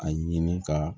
A ɲini ka